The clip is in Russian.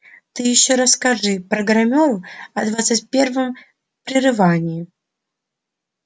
ты ещё расскажи программеру о двадцать первом прерывании